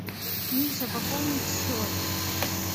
миша пополнить счет